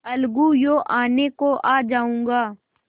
अलगूयों आने को आ जाऊँगा